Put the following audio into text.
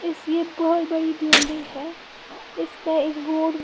इसलिए बहोत बड़ी बिल्डिंग है इस में एक बोर्ड --